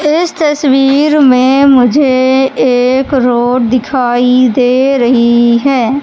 इस तस्वीर में मुझे एक रोड दिखाई दे रही है।